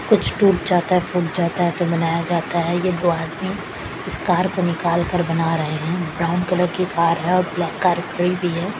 कुछ टूट जाता है फूट जाता है तो बनाया जाता है ये दो आदमी इस कार को निकाल कर बना रहे है ब्राउन कलर की कार है और ब्लैक कार खड़ी भी है।